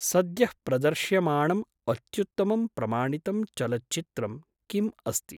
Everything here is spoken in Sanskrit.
सद्यः प्रदर्श्यमाणम् अत्त्युत्तमं प्रमाणितं चलच्चित्रं किम् अस्ति?